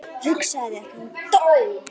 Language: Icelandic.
Hugsaðu þér, hann dó.